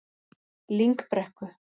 Lyngbrekku